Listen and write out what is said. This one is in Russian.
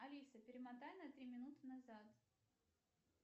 алиса перемотай на три минуты назад